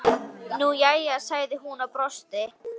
Nú jæja, sagði hún og brosti.